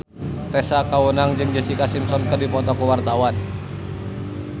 Tessa Kaunang jeung Jessica Simpson keur dipoto ku wartawan